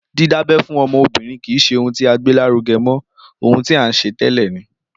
Dídábẹ́ fún ọmọbìrin kìí ṣe ohun tí a gbé lárugẹ mọ, ohun tí a n ṣe ni tẹ́lẹ